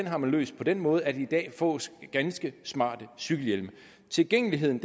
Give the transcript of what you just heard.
har man løst på den måde at der i dag fås ganske smarte cykelhjelme tilgængeligheden